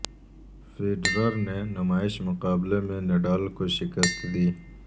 Federer نے نمائشی مقابلے میں نڈال کو شکست دی